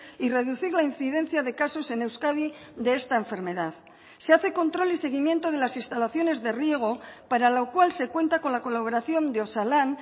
y reducir la incidencia de casos en euskadi de esta enfermedad se hace control y seguimiento de las instalaciones de riego para lo cual se cuenta con la colaboración de osalan